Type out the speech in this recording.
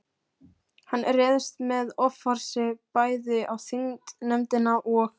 Hann réðst með offorsi bæði á þingnefndina og